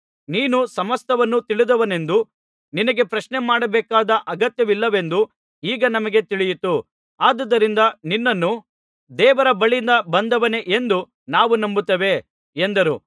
ನೀನು ಸಮಸ್ತವನ್ನು ತಿಳಿದವನೆಂದೂ ನಿನಗೆ ಪ್ರಶ್ನೆ ಮಾಡಬೇಕಾದ ಅಗತ್ಯವಿಲ್ಲವೆಂದೂ ಈಗ ನಮಗೆ ತಿಳಿಯಿತು ಆದುದರಿಂದ ನಿನ್ನನ್ನು ದೇವರ ಬಳಿಯಿಂದ ಬಂದವನೇ ಎಂದು ನಾವು ನಂಬುತ್ತೇವೆ ಎಂದರು